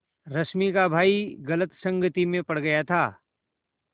रश्मि का भाई गलत संगति में पड़ गया था